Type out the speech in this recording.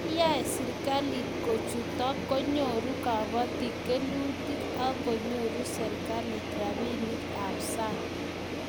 Nda yae serikalit kuchotok konyuru kabatik kelutik ak konyoru serikalit rabinik ab sang'